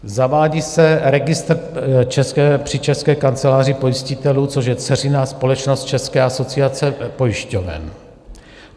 Zavádí se registr při České kanceláři pojistitelů, což je dceřiná společnost České asociace pojišťoven.